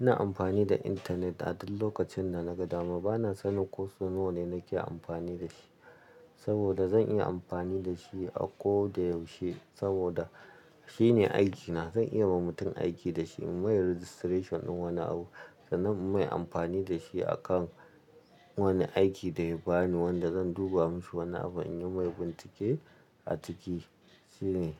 Ina amfani da internet a duk lokacin da naga dama. Bana sanin ko sau nawa ne nake amfani da shi saboda zan iya amfani da shi a ko da yaushe saboda shine aikina. Zan iya ma mutum aiki da shi, in yi mai registration din wani abu sannan in yi mai amfani da shi akan wani aiki da ya bani wanda zan duba mishi wani abu in yi mai bincike a ciki. Shi ne.